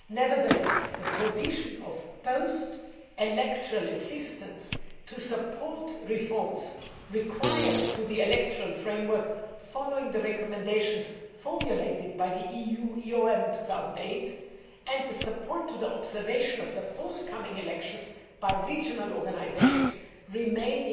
Nevertheless, the provision of post electoral assistance to support the required reforms to the electoral framework, following the recommendations formulated by the EU UN 2008, and the support given to observation of the forthcoming elections by regional organisations remain,